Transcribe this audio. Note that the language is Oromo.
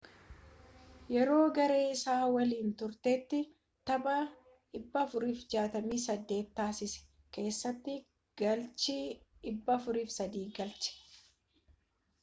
yeroo garee isaa waliin turetti tapha 468 taasisee keessatti galchii 403 galche